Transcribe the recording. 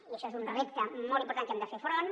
i això és un repte molt important a què hem de fer front